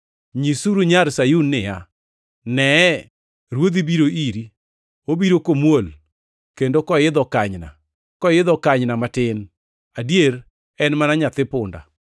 “Nyisuru nyar Sayun niya, ‘Nee, Ruodhi biro iri, obiro komuol, kendo koidho kanyna; koidho kanyna matin, adier en mana nyathi punda.’ + 21:5 \+xt Zek 9:9\+xt*”